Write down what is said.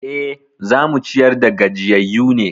E, za mu ciyar da gajiyayyu ne.